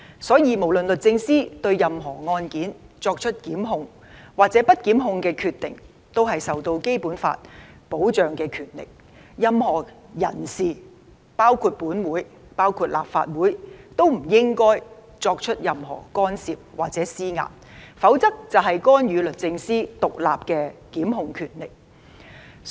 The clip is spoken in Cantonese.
所以，不論律政司對任何案件作出檢控或不檢控的決定，也是受到《基本法》保障的權力，任何人士，包括立法會也不應作出任何干涉或施壓，否則便是干預律政司獨立的檢控權力。